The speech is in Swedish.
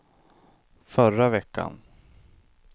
förra veckan